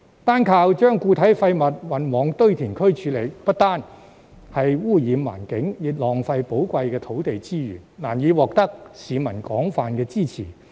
單靠把固體廢物運往堆填區處理，不單污染環境，亦浪費寶貴的土地資源，難以獲得市民廣泛支持。